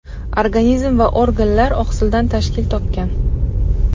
Organizm va organlar oqsildan tashkil topgan.